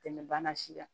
Tɛmɛ bana si kan